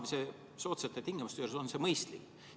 Kas soodsate laenutingimuste juures on see mõistlik?